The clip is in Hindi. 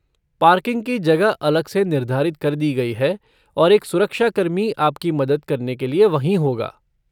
पार्किंग की जगह अलग से निर्धारित कर दी गई है और एक सुरक्षाकर्मी आपकी मदद करने के लिए वहीं होगा।